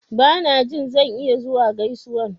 Ba na jin zan iya zuwa gaisuwan.